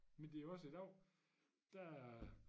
Men det jo også i dag der